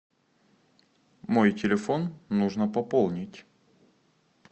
мой телефон нужно пополнить